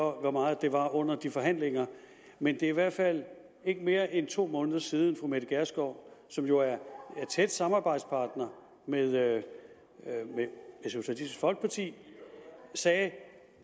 hvor meget det var under de forhandlinger men det er i hvert fald ikke mere end to måneder siden fru mette gjerskov som jo er tæt samarbejdspartner med socialistisk folkeparti sagde at